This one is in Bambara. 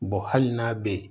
hali n'a bɛ yen